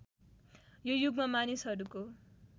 यो युगमा मानिसहरूको